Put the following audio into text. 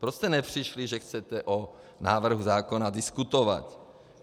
Proč jste nepřišli, že chcete o návrhu zákona diskutovat?